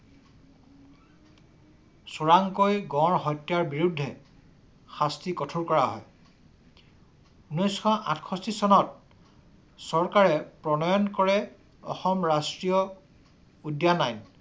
চোৰাংকৈ গড় হত্যাৰ বিৰুদ্ধে শাস্তি কঠোৰ কৰা হয়। ঊনৈশ আঠসত্ৰিছ চনত চৰকাৰে প্ৰণয়ন কৰে অসম ৰাষ্ট্ৰীয় উদ্যান আইন।